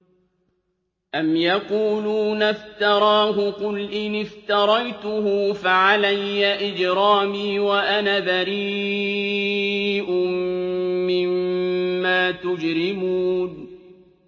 أَمْ يَقُولُونَ افْتَرَاهُ ۖ قُلْ إِنِ افْتَرَيْتُهُ فَعَلَيَّ إِجْرَامِي وَأَنَا بَرِيءٌ مِّمَّا تُجْرِمُونَ